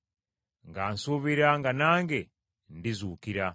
nga nsuubira nga nange ndizuukira.